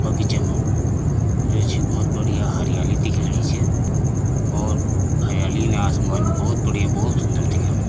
बगीचा मा यो छ बहौत बढ़िया हरियाली दिखेणी च और हरियाली नास मोन बहौत बढ़िया बहौत सुन्दर दिखेणी।